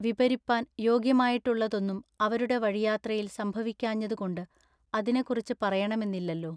വിപരിപ്പാൻ യോഗ്യമായിട്ടുള്ളതൊന്നും അവരുടെ വഴിയാത്രയിൽ സംഭവിക്കാഞ്ഞതുകൊണ്ടു അതിനെക്കുറിച്ചു പറയെണമെന്നില്ലല്ലോ.